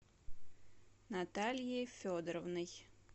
натальей федоровной